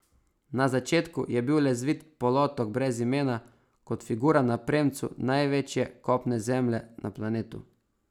Na začetku je bil le zvit polotok brez imena, kot figura na premcu največje kopne zemlje na planetu.